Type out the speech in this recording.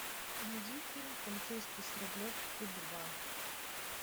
найди фильм полицейский с рублевки два